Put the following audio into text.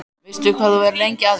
Veistu hvað þú verður lengi að því?